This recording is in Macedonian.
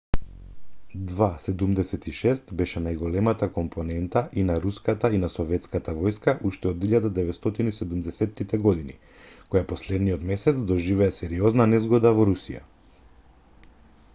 ii-76 беше најголемата компонента и на руската и на советската војска уште од 1970-ите години која последниот месец доживеа сериозна незгода во русија